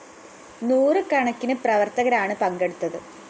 നൂറു കണക്കിന് പ്രവര്‍ത്തകരാണ് പങ്കെടുത്തത്